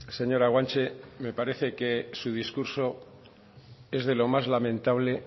señora guanche me parece que su discurso es de lo más lamentable